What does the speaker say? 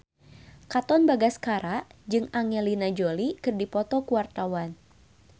Katon Bagaskara jeung Angelina Jolie keur dipoto ku wartawan